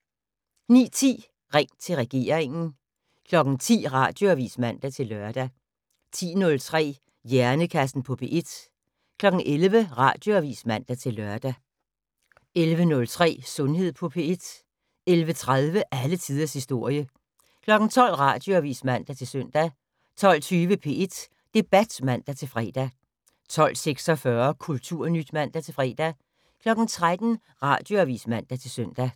09:10: Ring til regeringen 10:00: Radioavis (man-lør) 10:03: Hjernekassen på P1 11:00: Radioavis (man-lør) 11:03: Sundhed på P1 11:30: Alle tiders historie 12:00: Radioavis (man-søn) 12:20: P1 Debat (man-fre) 12:46: Kulturnyt (man-fre) 13:00: Radioavis (man-søn)